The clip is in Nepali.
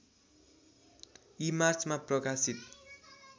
ईमार्चमा प्रकाशित